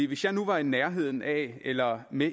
hvis jeg nu var i nærheden af eller med